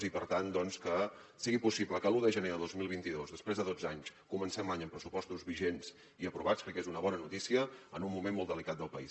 i per tant que sigui possible que l’un de gener de dos mil vint dos després de dotze anys comencem l’any amb pressupostos vigents i aprovats crec que és una bona notícia en un moment molt delicat del país